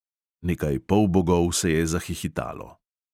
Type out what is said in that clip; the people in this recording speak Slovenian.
Nekaj polbogov se je zahihitalo.